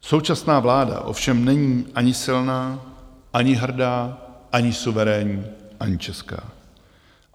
Současná vláda ovšem není ani silná, ani hrdá, ani suverénní, ani česká.